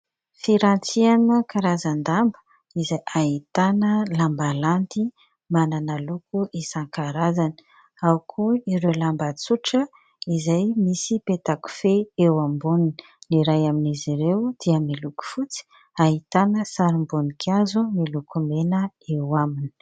Firantiana karazan-damba izay ahitana lamba landy manana loko isan-karazany. Ao koa ireo lamba tsotra izay misy peta-kofehy eo amboniny. Ny iray amin'izy ireo dia miloko fotsy ahitana sarim-boninkazo miloko mena eo aminy.